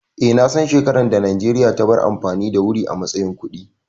Eh, na san shekaran da Najeriya ta bar amfani da wuri a matsayin kuɗi